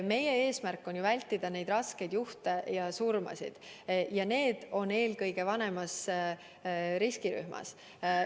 Meie eesmärk on vältida eelkõige raskeid juhte ja surmasid, ja need on eelkõige vanemas riskirühmas.